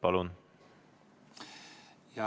Palun!